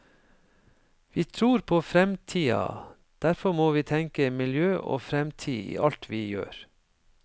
Vi tror på framtida, derfor må vi tenke miljø og framtid i alt vi gjør.